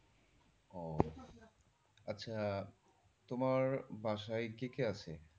আচ্ছা তোমার বাসায় কে কে আছে?